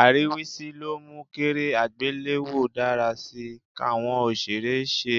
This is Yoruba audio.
Àríwísí ló mú kéré àgbéléwò dára sí í, káwọn òṣèré ṣe